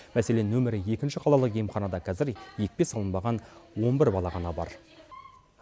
мәселен нөмірі екінші қалалық емханада қазір екпе салынбаған он бір бала ғана бар